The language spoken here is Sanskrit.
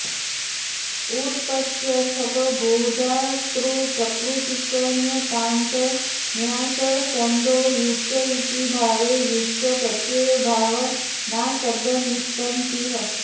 उत्पत्यर्थक भू धातुप्रकृतिकण्यन्तात् ण्यासश्रन्थो युच् इति भावे युच् प्रत्यये भावनाशब्दनिष्पत्तिः